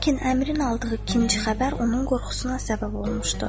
Lakin əmrin aldığı ikinci xəbər onun qorxusuna səbəb olmuşdu.